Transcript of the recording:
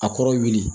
A kɔrɔ wuli